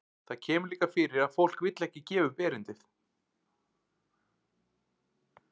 Það kemur líka fyrir að fólk vill ekki gefa upp erindið.